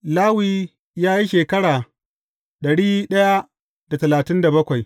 Lawi ya yi shekara dari da talatin da bakwai.